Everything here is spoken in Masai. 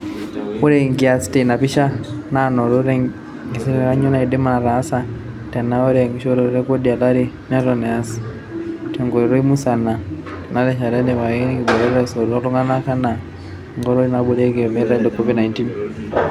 Ore enkias teina picha naanoto tengingazia, kanyio nedim netaase tenaa ore enkishooroto e kodi olari neton easi tenkoitoi musana tena rishata etipikaki nkibooreta esoto ooltunganak enaa enkoitoi naibooriaki olmetai le Covid-19.